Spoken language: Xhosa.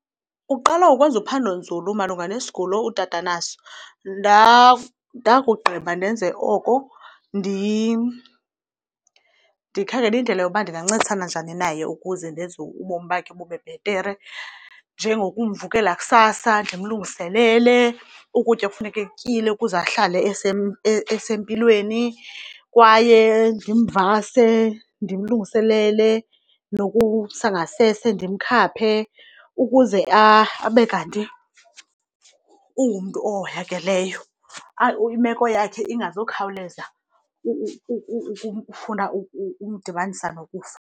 Uqala ukwenza uphando nzulu malunga nesigulo utata anaso. Ndakugqiba ndenze oko ndikhangele indlela yoba ndingancedisana njani naye ukuze ndenze ubomi bakhe bube bhetere, njengokumvukela kusasa ndimlungiselele ukutya ekufuneka ekutyile ukuze ahlale esempilweni. Kwaye ndimvase, ndimlungiselele, nokumsa ngasese ndimkhaphe ukuze abe kanti ungumntu ohoyakeleyo, imeko yakhe ingazukhawuleza ufuna umdibanisa nokufa.